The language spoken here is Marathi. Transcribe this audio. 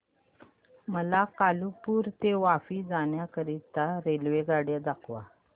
मला कालुपुर ते वापी जाण्या करीता रेल्वेगाड्या दाखवा